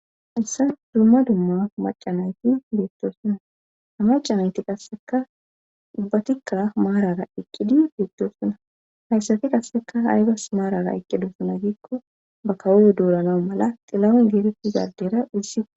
hayssa dumma dumma macanayti beettosuna hamacanayti qasseka dubbatikkaa maarara iqqidi beettosuna hayssafi qasseka haygas maarara iqqidosuna giikko ba kawoyo duuranawu mala xilamen geereti gardera izi